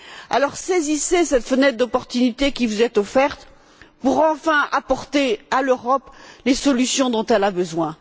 Alors, saisissez cette fenêtre d'opportunité qui vous est offerte pour, enfin, apporter à l'Europe les solutions dont elle a besoin.